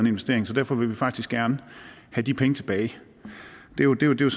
investering så derfor vil vi faktisk gerne have de penge tilbage det er jo